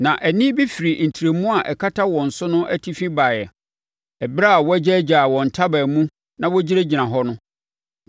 Na ɛnne bi firi ntrɛmu a ɛkata wɔn so no atifi baeɛ, ɛberɛ a wɔagyaagyaa wɔn ntaban mu na wɔgyinagyina hɔ no.